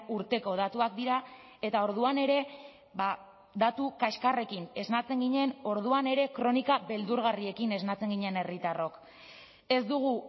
urteko datuak dira eta orduan ere datu kaxkarrekin esnatzen ginen orduan ere kronika beldurgarriekin esnatzen ginen herritarrok ez dugu